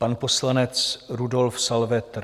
Pan poslanec Rudolf Salvetr.